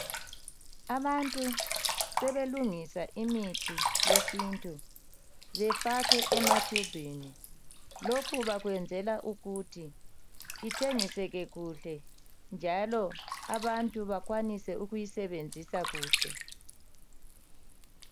Abantu selungisa imithi yesintu befake ematubini lokhu bakwenzela ukuthi ithengiseke kuhle njalo abantu bekwanise ukuyisebenzisa kuhle